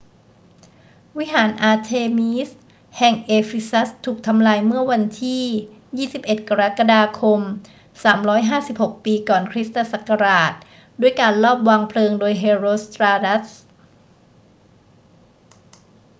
วิหารอาร์เทมีสแห่งเอฟีซัสถูกทำลายเมื่อวันที่ 21 กรกฎาคม 356 ปีก่อนคริสตศักราช ด้วยการลอบวางเพลิงโดยเฮโรสตราตัส